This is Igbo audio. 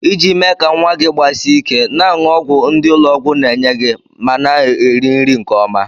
Iji mee ka nwa gị gbasie ike, na-aṅụ ọgwụ ndị ụlọ ọgwụ na-enye gị mana eri nri nke ọma.